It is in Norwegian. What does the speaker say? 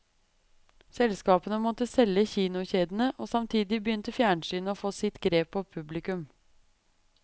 Selskapene måtte selge kinokjedene, og samtidig begynte fjernsynet å få sitt grep på publikum.